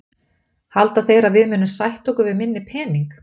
Halda þeir að við munum sætta okkur við minni pening?